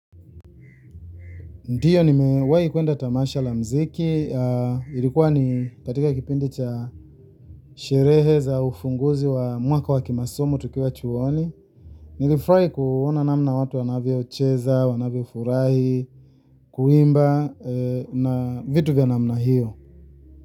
Ndiyo nimewahi kuenda tamasha la muziki ilikuwa ni katika kipindi cha sherehe za ufunguzi wa mwaka wa kimasomo tukiwa chuoni nilifurahi kuona namna watu wanavyocheza wanavyofurahi kuimba na vitu vya namna hiyo.